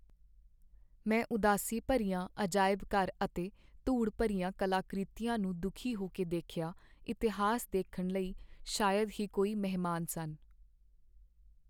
ਮੈਂ ਉਦਾਸੀ ਭਰਿਆ ਅਜਾਇਬ ਘਰ ਅਤੇ ਧੂੜ ਭਰੀਆਂ ਕਲਾਕ੍ਰਿਤੀਆਂ ਨੂੰ ਦੁੱਖੀ ਹੋ ਕੇ ਦੇਖਿਆ ਇਤਿਹਾਸ ਦੇਖਣ ਲਈ ਸ਼ਾਇਦ ਹੀ ਕੋਈ ਮਹਿਮਾਨ ਸਨ